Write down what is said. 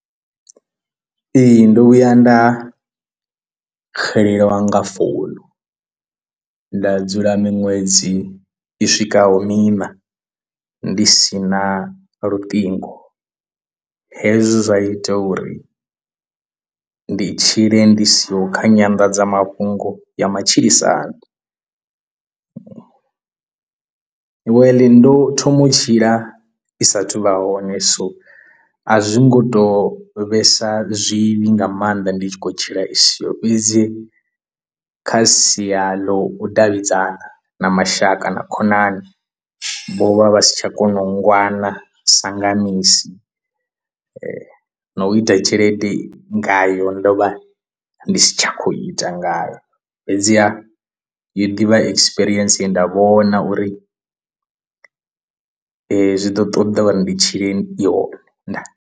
Ee, ndo vhuya nda xelelwa nga founu nda dzula miṅwedzi i swikaho miṋa ndi si na luṱingo hezwo zwa ita uri ndi tshile ndi siho kha nyanḓadzamafhungo ya matshilisano, well ndo thoma u tshila i sa athu u vha hone so a zwi ngo tou vhesa zwivhi nga maanḓa ndi tshi khou tshila isiho fhedzi kha sia ḽa u davhidzana na mashaka na khonani vho vha vha si tsha kona u ngwana sa nga misi, na u ita tshelede ngayo ndo vha ndi tshi khou ita ngayo fhedziha yo ḓivha ekisipirientsi nda vhona uri ezwo zwi ḓo ṱoḓa uri ndi tshilei i hone ndaa!.